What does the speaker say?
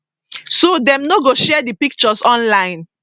so dem no go share di pictures online